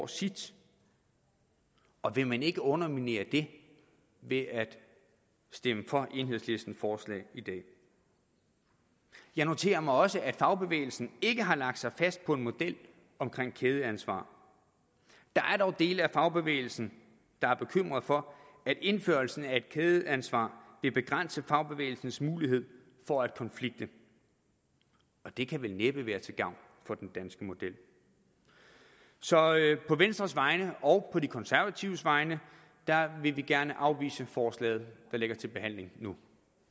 sit og vil man ikke underminere det ved at stemme for enhedslistens forslag i dag jeg noterer mig også at fagbevægelsen ikke har lagt sig fast på en model omkring kædeansvar der er dog dele af fagbevægelsen der er bekymret for at indførelsen af et kædeansvar vil begrænse fagbevægelsens mulighed for at konflikte og det kan vel næppe være for til gavn for den danske model så på venstres vegne og på de konservatives vegne vil vi gerne afvise forslaget der ligger til behandling nu